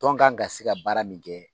Tɔn kan ka se ka baara min kɛ